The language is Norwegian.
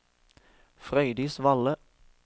Frøydis Valle